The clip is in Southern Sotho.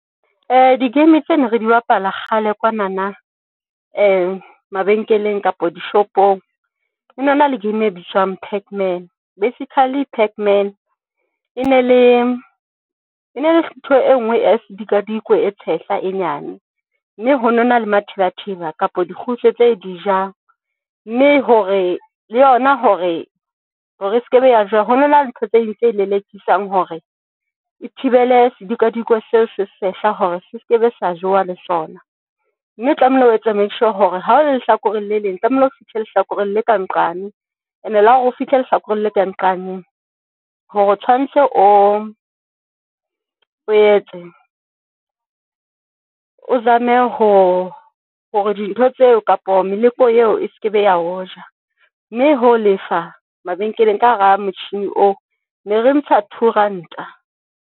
Di-game tse ne re di bapala kgale kwanana. mabenkeleng kapa dishopong hono na le game e bitswang Pac-Man, basically Pac-Man e ne le thuto e ngwe ese dikadikweng e tshehla e nyane mme hono na le matheba theba, kapo di kgutso tse di ja, mme hore le yona hore e seke be ya jewa hono na le ntho tse ding tse lelekisang hore e thibele sedikadikweng seno se sehla hore se seke be sa jewa le sona mme tlamehile ho etse make sure hore ha o lehlakoreng le leng, tlamehile o fihle lehlakoreng le ka nqane ene le hore o fihle lehlakoreng le ka nqane hore tshwantse o o etse o zame ho hore dintho tseo kapa meleko eo e sekebe ya ho ja mme ho lefa mabenkeleng ka hara motjhini oo ne re ntsha Two Ranta.